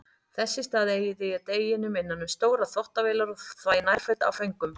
Þess í stað eyði ég deginum innan um stórar þvottavélar og þvæ nærföt af föngum.